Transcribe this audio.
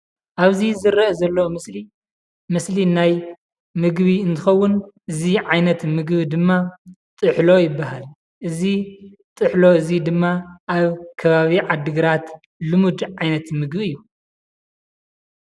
ኣብዚ ዝረአ ዘሎ ምስሊ፡ ምስሊ ናይ ምግቢ እንትኸውን እዚ ዓይነት ምግቢ ድማ ጥሕሎ ይባሃል፡፡ እዚ ጥሕሎ እዚ ድማ ኣብ ከባቢ ዓድግራት ልሙድ ዓይነት ምግቢ እዩ፡፡